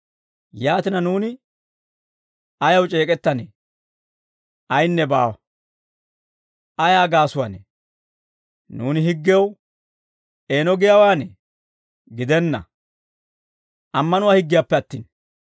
Yaatina, nuuni ayaw c'eek'ettanee? Ayinne baawa. Ayaa gaasuwaanee? Nuuni higgew eeno giyaawaanee? Gidenna; ammanuwaa higgiyaanappe attin.